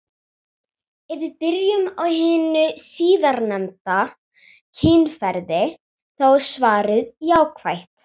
Ef við byrjum á hinu síðarnefnda, kynferði, þá er svarið jákvætt.